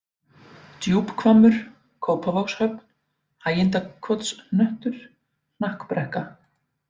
Djúphvammur, Kópavogshöfn, Hægindakotshnöttur, Hnakkbrekka